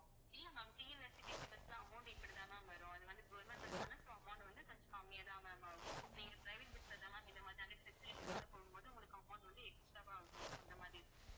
இல்லை ma'amTNSTCbus ல amount இப்படித்தான் ma'am வரும் அது வந்து government bus தான so amount வந்து கொஞ்சம் கம்மியாதான் ma'am ஆகும். நீங்க private bus ல தான் ma'am இந்த மாதிரியான facilities ஓட போகும்போது, உங்களுக்கு amount வந்து extra வா ஆகும் அந்த மாதிரி